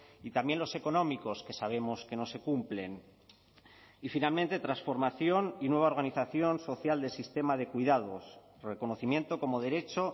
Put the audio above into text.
y también los económicos que sabemos que no se cumplen y finalmente transformación y nueva organización social del sistema de cuidados reconocimiento como derecho